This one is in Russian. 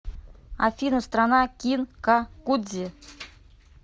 афина страна кинкакудзи